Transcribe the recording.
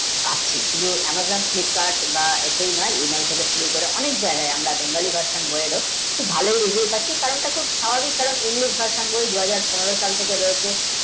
শুধু Amazon Flipkart বা নয় থেকে শুরু করে অনেক যায়গায় আমরা bengali, version খুব ভালো reviews আসছে কারণটা খুব স্বভাভিক কারণ image, version দু হাজার পনেরো সাল থেকে রয়েছে।